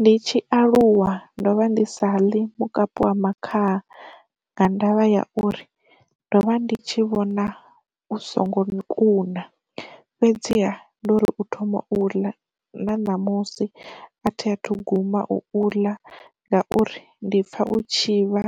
Ndi tshi aluwa ndo vha ndi sa ḽi mukapi wa makhaha nga ndavha ya uri, ndo vha ndi tshi vhona u songo kuna fhedziha ndo uri u thoma u ḽa na namusi a thi athu guma u ḽa ngauri ndi pfha u tshi vha